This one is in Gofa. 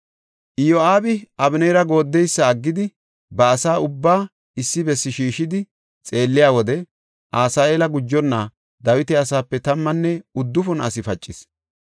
Iyo7aabi Abeneera gooddeysa aggidi, ba asa ubbaa issi bessi shiishidi xeelliya wode, Asaheela gujonna Dawita asaape tammanne uddufun asi pacis.